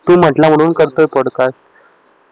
तू म्हटला आहे म्हणून करतोय थोडक्यात